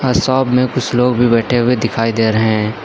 Shop में कुछ लोग भी बैठे हुए दिखाई दे रहे हैं।